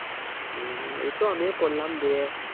উম এইতো আমিও করলাম, দিয়ে